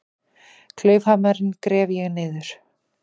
Klaufhamarinn gref ég niður.